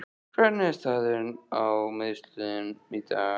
Hvernig er staðan á meiðslunum í dag?